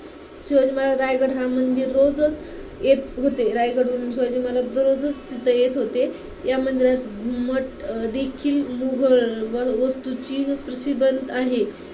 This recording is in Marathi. शिवाजी महाराज रायगड हा मंदिर रोजच येत होते. रायगडहून शिवाजी महाराज दररोज तिथं येत होते. या मंदिरात घुमटदेखील मुघल व वस्तूची प्रतिबिंब आहे.